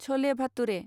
सले भातुरे